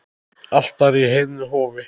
Altari í heiðnu hofi.